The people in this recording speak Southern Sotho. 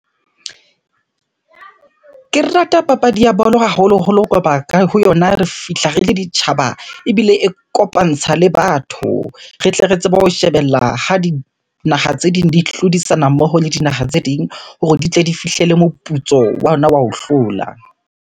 Ke rata papadi ya bolo haholoholo ho yona re fihla re le ditjhaba ebile e kopantsha le batho. Re tle re tsebe ho shebella ha dinaha tse ding di hlodisana mmoho le dinaha tse ding hore di tle di fihlele moputso wa yona wa ho hlola.